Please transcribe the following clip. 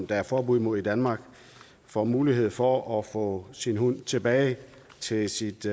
der er forbud imod i danmark får mulighed for at få sin hund med tilbage til sit